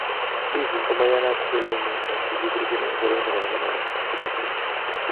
Giggs komaiyanat kele mi eng che kibirchin eng boroindo nebo menecha.